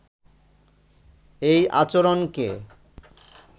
এই আচরণকে